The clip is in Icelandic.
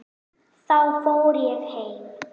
Þá fór ég heim.